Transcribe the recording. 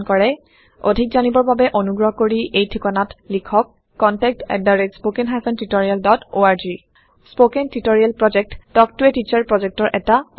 অধিক জানিবৰ বাবে অনুগ্ৰহ কৰি এই ঠিকনাত লিখক contactspoken tutorialorg স্পকেন টিওটৰিয়েলৰ প্ৰকল্প তাল্ক ত a টিচাৰ প্ৰকল্পৰ এটা অংগ